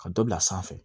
Ka dɔ bila sanfɛ